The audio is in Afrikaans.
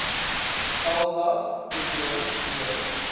galblaas probleme lewer